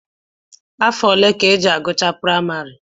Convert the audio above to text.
Afọ ole ka e ji agụcha akwụkwọ praịmarị?